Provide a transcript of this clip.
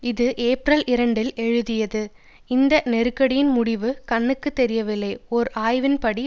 இது ஏப்ரல் இரண்டில் எழுதியது இந்த நெருக்கடியின் முடிவு கண்ணுக்கு தெரியவில்லை ஒரு ஆய்வின் படி